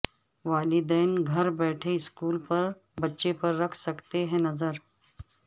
والدین گھر بیٹھے اسکول میں بچے پر رکھ سکتے ہیں نظر